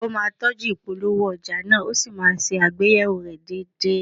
A ó máa tọ́jú ìpolówó ọjà náà, a ó sì máa ṣe àgbéyẹ̀wò rẹ̀ déédéé